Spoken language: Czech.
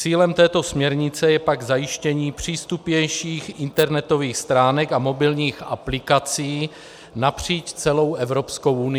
Cílem této směrnice je pak zajištění přístupnějších internetových stránek a mobilních aplikací napříč celou Evropskou unií.